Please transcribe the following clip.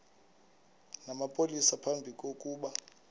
namapolisa phambi kokuba